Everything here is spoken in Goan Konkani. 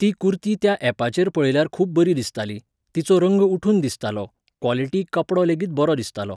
ती कुर्ती त्या ऍपाचेर पळयल्यार खूब बरी दिसताली, तिचो रंग उठून दिसतालो, क्वॉलिटी कपडोलेगीत बरो दिसतालो